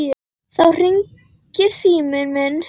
Þá hringir síminn.